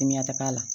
Timiyata k'a la